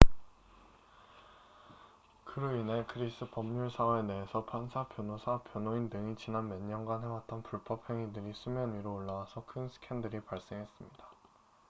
그로 인해 그리스 법률 사회 내에서 판사 변호사 변호인 등이 지난 몇 년간 해왔던 불법 행위들이 수면 위로 올라와서 큰 스캔들이 발생했습니다